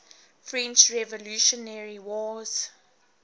french revolutionary wars